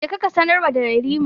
Ka je ka sanarwa da Yarima.